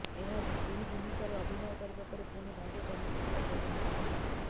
ଏହି ଭୂମିକାରେ ଅଭିନୟ କରିବା ପରେ ପୁଣି ଭାଗ୍ୟ ଚମକିଥିଲା ରୋନିତଙ୍କର